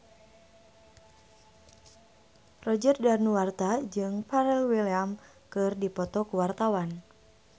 Roger Danuarta jeung Pharrell Williams keur dipoto ku wartawan